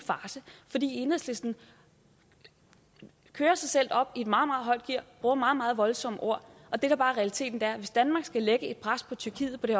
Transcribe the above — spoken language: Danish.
fordi enhedslisten kører sig selv op i et meget meget højt gear bruger meget meget voldsomme ord og det der bare realiteten er at hvis danmark skal lægge pres på tyrkiet på det